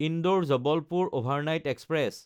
Indore Jabalpur overnight express